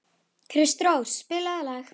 Kristrós, spilaðu lag.